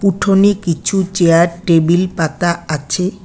উঠোনে কিছু chair table পাতা আছে।